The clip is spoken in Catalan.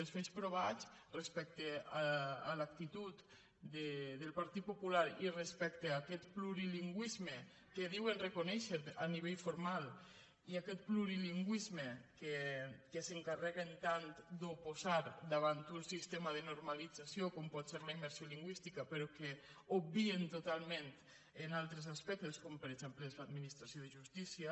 els fets provats respecte a l’actitud del partit popular i respecte a aquest plurilingüisme que diuen reconèixer a nivell formal i aquest plurilingüisme que s’encarre·guen tant d’oposar davant d’un sistema de normalitza·ció com pot ser la immersió lingüística però que obvi·en totalment en altres aspectes com per exemple és l’administració de justícia